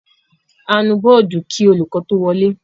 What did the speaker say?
A nu bọ́ọ́dù kí olùkọ́ tó wọlé.